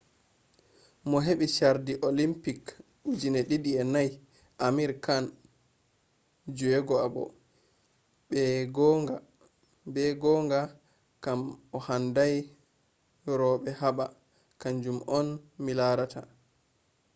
mo hebi chardi olympic 2004 amir khan vi’’ be gonga kam handai robe haba kanjum on mi larata’’